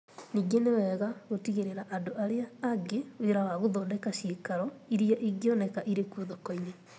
Ningĩ, nĩ wega gũtigĩra andũ arĩa angĩ wĩra wa gũthondeka cĩikaro iria ingĩoneka irĩ kuo thoko-inĩ.